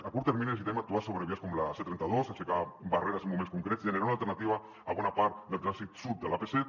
a curt termini necessitem actuar sobre vies com la c trenta dos aixecar barreres en moments concrets generar una alternativa a bona part del trànsit sud de l’ap set